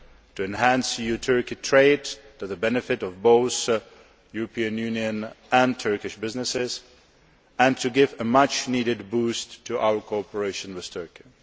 to enhance EU Turkey trade to the benefit of both European Union and Turkish businesses, and to give a much needed boost to our cooperation with Turkey.